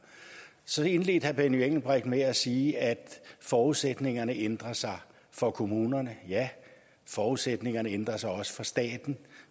så indledte herre benny engelbrecht med at sige at forudsætningerne ændrer sig for kommunerne ja forudsætningerne ændrer sig også for staten